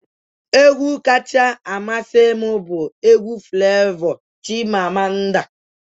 Egwu kacha amasị m bụ egwu Flevọ 'Chimamanda'